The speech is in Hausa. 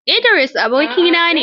Idris abokina ne.